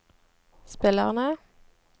spillerne